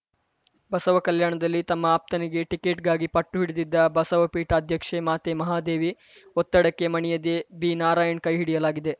ಬಸವಕಲ್ಯಾಣದಲ್ಲಿ ತಮ್ಮ ಅಪ್ತನಿಗೆ ಟಿಕೆಟ್‌ಗಾಗಿ ಪಟ್ಟು ಹಿಡಿದಿದ್ದ ಬಸವ ಪೀಠಾಧ್ಯಕ್ಷೆ ಮಾತೆ ಮಹಾದೇವಿ ಒತ್ತಡಕ್ಕೆ ಮಣಿಯದೇ ಬಿನಾರಾಯಣ್ ಕೈ ಹಿಡಿಯಲಾಗಿದೆ